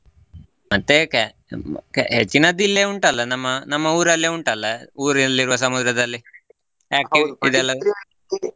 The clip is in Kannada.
ಮತ್ತ ಏಕೆ ಹೆಚ್ಚಿನದ್ದು ಇಲ್ಲೆ ಉಂಟಲ್ಲಾ ನಮ್ಮ, ನಮ್ಮ ಊರಲ್ಲೆ ಉಂಟಲ್ಲಾ ಊರಲ್ಲಿರುವ ಸಮುದ್ರದಲ್ಲಿ ಯಾಕೆ .